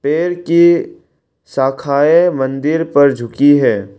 पेड़ के शाखाये मन्दिर पर झूकी है।